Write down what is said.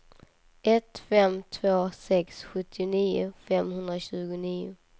ett fem två sex sjuttionio femhundratjugonio